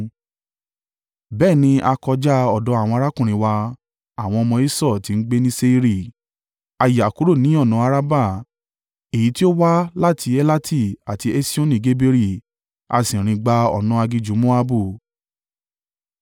Bẹ́ẹ̀ ni a kọjá ọ̀dọ̀ àwọn arákùnrin wa, àwọn ọmọ Esau tí ń gbé ní Seiri. A yà kúrò ní ọ̀nà Arabah èyí tí ó wá láti Elati àti Esioni-Geberi, a sì rìn gba ọ̀nà aginjù Moabu.